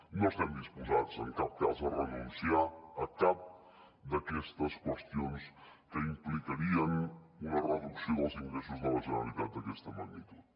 no estem disposats en cap cas a renunciar a cap d’aquestes qüestions que implicarien una reducció dels ingressos de la generalitat d’aquesta magnitud